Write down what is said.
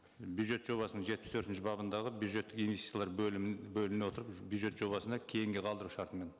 бюджет жобасының жетпіс төртінші бабындағы бюджеттік инвестициялар бөлімін бөліміне отырып бюджет жобасына кейінге қалдыру шартымен